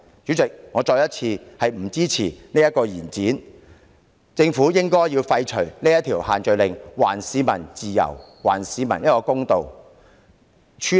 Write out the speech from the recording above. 主席，我再次重申，我不支持延展有關措施，政府應廢除限聚令，還市民自由和公道。